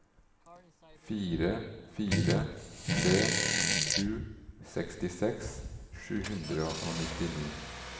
fire fire tre sju sekstiseks sju hundre og nittini